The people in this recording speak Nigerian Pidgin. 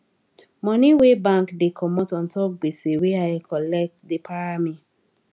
money wey bank da comot untop gbese wey i colet da para me